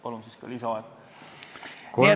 Palun ka lisaaega!